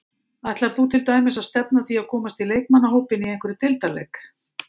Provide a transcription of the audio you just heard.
Ætlar þú til dæmis að stefna að því að komast í leikmannahópinn í einhverjum deildarleik?